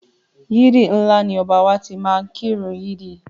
Yídì ńlá ni Ọba wa tí máá ń kí ìrun yídì